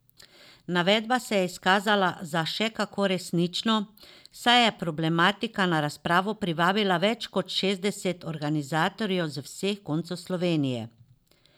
Navedba se je izkazala za še kako resnično, saj je problematika na razpravo privabila več kot šestdeset organizatorjev z vseh koncev Slovenije.